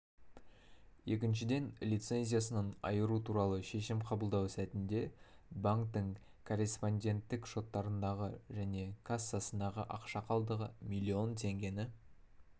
екіншіден лицензиясынан айыру туралы шешім қабылдау сәтінде банктің корреспонденттік шоттарындағы және кассасындағы ақша қалдығы млн теңгені